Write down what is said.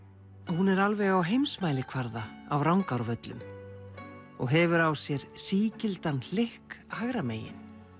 hún er alveg á heimsmælikvarða af Rangárvöllum og hefur á sér sígildan hlykk hægra megin